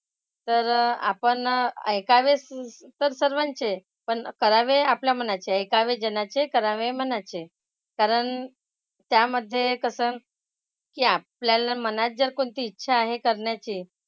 तर आपण ऐकावेच तर सर्वांचे पण करावे आपल्या मनाचे. ऐकावे जनाचे करावे मनाचे. कारण त्यामध्ये कसं की आपल्याला मनात जर कोणती इच्छा आहे करण्याची,